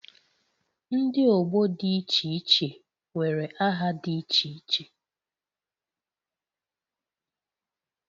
Ndi ọgbọ dị iche iche nwere aha dị iche iche